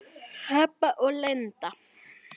Heba og Linda.